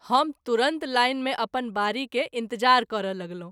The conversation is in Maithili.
हम तुरत लाइन मे अपन बारी के इंतज़ार करय लगलहुँ।